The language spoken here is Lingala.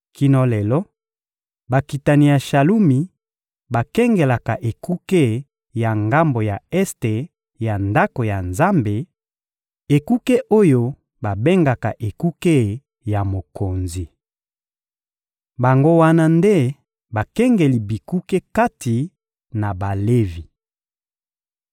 Kino lelo, bakitani ya Shalumi bakengelaka ekuke ya ngambo ya este ya Ndako ya Nzambe, ekuke oyo babengaka ekuke ya Mokonzi. Bango wana nde bakengeli bikuke kati na Balevi.